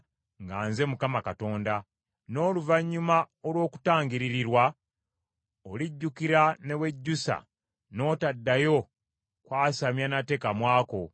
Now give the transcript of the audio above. n’oluvannyuma olw’okutangiririrwa, olijjukira ne wejjusa n’otaddayo kwasamya nate kamwa ko, bw’ayogera Mukama Katonda.’ ”